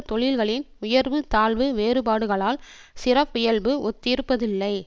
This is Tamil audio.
தொழில்களின் உயர்வு தாழ்வு வேறுபாடுகளால் சிறப்பியல்பு ஒத்திருப்பதில்லை